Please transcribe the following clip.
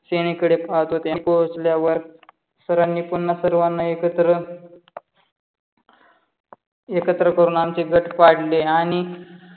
पाहत होते. पोहचल्या वर सारणी पुना सर्वाना एकत्र एकत्र करून आमचे गठ पाडले. आणि